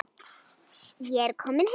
Ég er kominn heim!